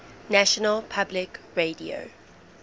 national public radio